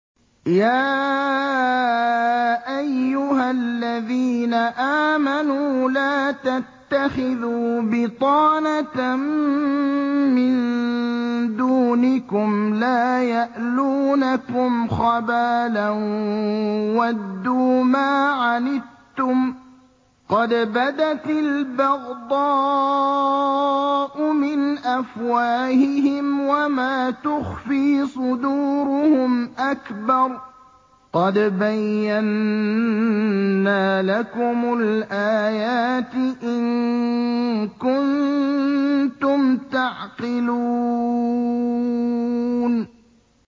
يَا أَيُّهَا الَّذِينَ آمَنُوا لَا تَتَّخِذُوا بِطَانَةً مِّن دُونِكُمْ لَا يَأْلُونَكُمْ خَبَالًا وَدُّوا مَا عَنِتُّمْ قَدْ بَدَتِ الْبَغْضَاءُ مِنْ أَفْوَاهِهِمْ وَمَا تُخْفِي صُدُورُهُمْ أَكْبَرُ ۚ قَدْ بَيَّنَّا لَكُمُ الْآيَاتِ ۖ إِن كُنتُمْ تَعْقِلُونَ